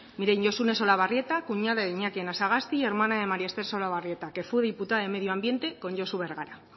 miren josune solabarrieta cuñada de iñaki anasagasti y hermana de maría esther solabarrieta que fue diputada de medio ambiente con josu bergara